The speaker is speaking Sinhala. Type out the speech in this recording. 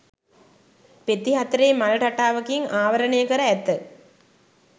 පෙති හතරේ මල් රටාවකින් ආවරණය කර ඇත.